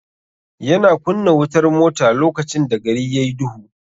Ya na kunna wutar mota lokacn da gari yayi duhu.